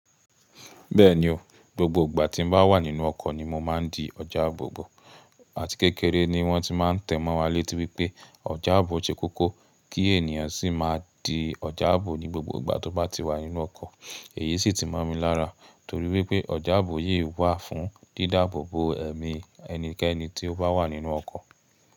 Bẹ́ẹ̀ni o, gbogbo ìgbà tí mo bá wà nínú ọkọ̀ ni mo máa ń di ọjà àbò bọ̀. Àti kékeré ni wọ́n ti máa ń tẹ̀ mọ́ wa létí wípẹ́ ọjà àbò ṣe kókó kí ènìyàn sì máa di ọjà àbò ní gbogbo ìgbà tó bá ti wà nínú ọkọ̀. Èyí sì ti mọ̀ mi lára torí wípé ọjà àbò yí wà fún dídáàbò bo ẹ̀mí ẹnikẹ́ni tí ó bá wà nínú ọkọ̀.